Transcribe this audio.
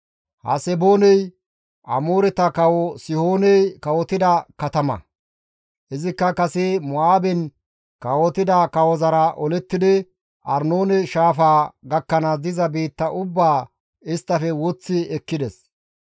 Hasebooney Amooreta kawo Sihooney kawotida katama; izikka kase Mo7aaben kawotida kawozara olettidi Arnoone shaafaa gakkanaas diza biitta ubbaa isttafe woththi ekkides.